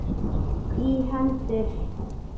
í hendur.